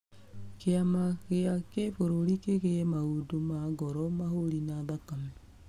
Kĩama gĩa kĩbũrũrĩ kĩgĩe maũndũ ma ngoro, mahũri na thakame.